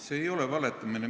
See ei ole valetamine.